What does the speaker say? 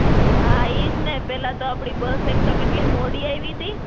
હાં એજ ને. પહેલા તો આપડી બસ એક તો કેટલી મોડી આયવી તી.